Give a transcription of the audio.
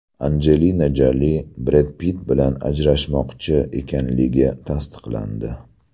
Anjelina Joli Bred Pitt bilan ajrashmoqchi ekanligi tasdiqlandi.